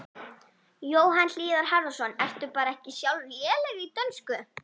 Jóhann Hlíðar Harðarson: Ertu bara ekki sjálf léleg í dönsku?